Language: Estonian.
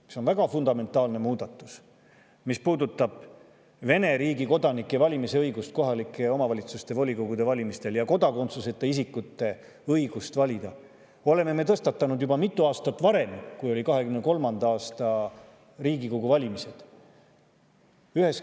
–, mis on väga fundamentaalne muudatus, mis puudutab Vene riigi kodanike valimisõigust kohalike omavalitsuste volikogude valimistel ja kodakondsuseta isikute õigust valida, me oleme tõstatanud juba mitu aastat varem, kui olid 2023. aasta Riigikogu valimised.